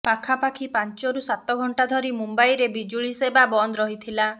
ପାଖାପାଖି ପାଞ୍ଚରୁ ସାତ ଘଣ୍ଟା ଧରି ମୁମ୍ୱାଇରେ ବିଜୁଳି ସେବା ବନ୍ଦ ରହିଥିଲା